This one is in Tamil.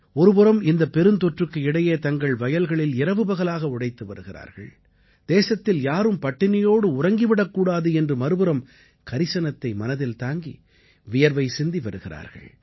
ஒருபுறம் இந்தப் பெருந்தொற்றுக்கு இடையே தங்கள் வயல்களில் இரவுபகலாக உழைத்து வருகிறார்கள் தேசத்தில் யாரும் பட்டினியோடு உறங்கி விடக்கூடாது என்று மறுபுறம் கரிசனத்தை மனதில் தாங்கி வியர்வை சிந்தி வருகிறார்கள்